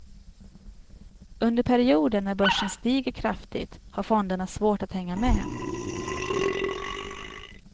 Under perioder när börsen stiger kraftigt har fonderna svårt att hänga med.